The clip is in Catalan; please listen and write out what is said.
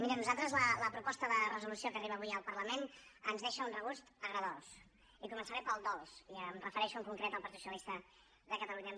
mirin nosaltres la proposta de resolució que arriba avui al parlament ens deixa un regust agredolç i començaré pel dolç i em refereixo en concret al partit socialista de catalunya